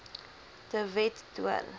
de wet toon